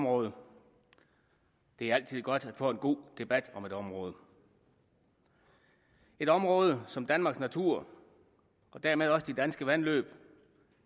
og det er altid godt at få en god debat om et område et område som danmarks natur og dermed også de danske vandløb